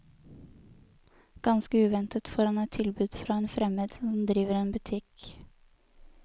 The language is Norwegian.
Ganske uventet får han et tilbud fra en fremmed som driver en butikk.